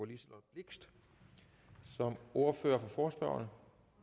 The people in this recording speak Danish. liselott blixt som ordfører for forespørgerne